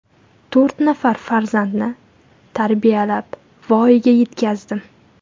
To‘rt nafar farzandni tarbiyalab voyaga yetkazdim.